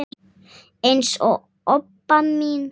eins og Obba mín.